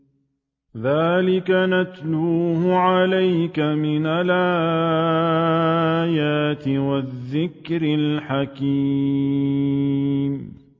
ذَٰلِكَ نَتْلُوهُ عَلَيْكَ مِنَ الْآيَاتِ وَالذِّكْرِ الْحَكِيمِ